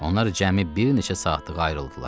Onlar cəmi bir neçə saatlıq ayrıldılar.